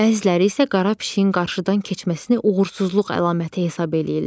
Bəziləri isə qara pişiyin qarşıdan keçməsini uğursuzluq əlaməti hesab eləyirlər.